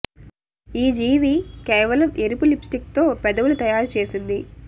ఈ జీవి కేవలం ఎరుపు లిప్ స్టిక్ తో పెదవులు తయారు చేసింది